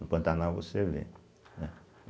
No Pantanal você vê, né?